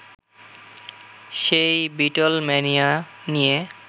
সেই বিটলম্যানিয়া নিয়ে